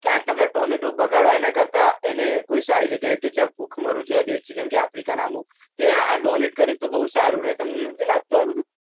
કે આટલા બધા tomato બગાડવા એનાક્રતા એને કોઈ સારી જગ્યા કે જ્યાં ભૂખમરો જેવા દેશ છે જેમ કે donate ના અમુક